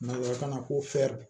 Nanzarakan na ko fɛri